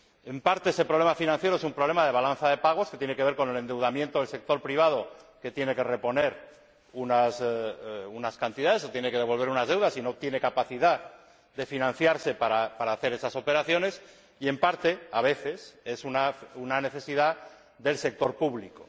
En parte, ese problema financiero es un problema de balanza de pagos que tiene que ver con el endeudamiento del sector privado, que tiene que reponer unas cantidades o devolver unas deudas y no tiene capacidad de financiarse para hacer esas operaciones, y, en parte, a veces, es una necesidad del sector público.